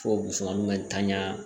Fo bsaman ka tanya